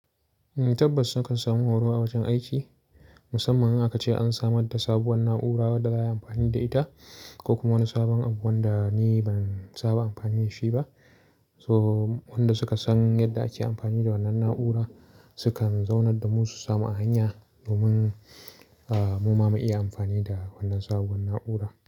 Tabbas su kan samu horo a wajen aiki, musamman in aka ce an samar da sabuwar na'ura wanda za a yi amfani da ita ko kuma wani sabon abu wanda ni ban saba amfani da shi ba. So wanda suka san yadda ake amfani da wannan na'ura, su kan zaunar da mu su samu hanya domin mu ma mu iya amfani da wannan sabuwar na'ura.